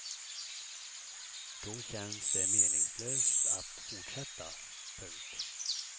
Då känns det meningslöst att fortsätta. punkt